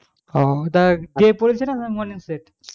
আহ ওটা day পড়েছে না morning select